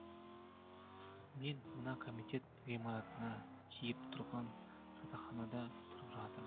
мен мына комитет ғимаратына тиіп тұрған жатақханада тұрып жатырмын